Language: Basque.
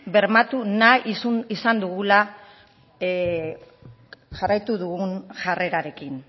bermatu nahi izan dugula jarraitu dugun jarrerarekin